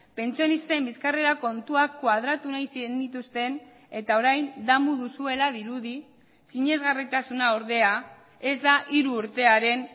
pentsionisten bizkarrera kontuak koadratu nahi zenituzten eta orain damu duzuela dirudi sinesgarritasuna ordea ez da hiru urtearen